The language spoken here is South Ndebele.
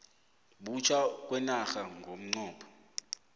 butjha kwenarha ngomnqopho